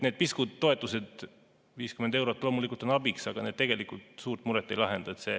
Need piskud toetused, nagu 50 eurot, loomulikult on abiks, aga need tegelikult suurt muret ei lahenda.